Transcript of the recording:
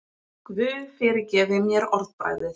Guð fyrirgefi mér orðbragðið.